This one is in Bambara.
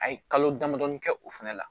A ye kalo damadɔɔni kɛ o fɛnɛ la